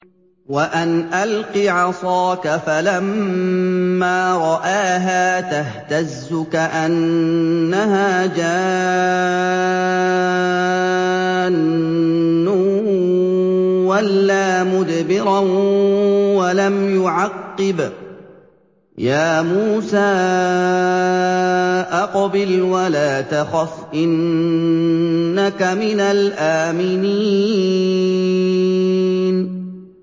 وَأَنْ أَلْقِ عَصَاكَ ۖ فَلَمَّا رَآهَا تَهْتَزُّ كَأَنَّهَا جَانٌّ وَلَّىٰ مُدْبِرًا وَلَمْ يُعَقِّبْ ۚ يَا مُوسَىٰ أَقْبِلْ وَلَا تَخَفْ ۖ إِنَّكَ مِنَ الْآمِنِينَ